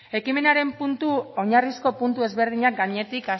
ekimenaren oinarrizko puntu ezberdinak gainetik